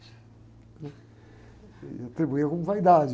E atribuíram como vaidade.